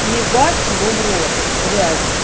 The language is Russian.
ебать его в рот блять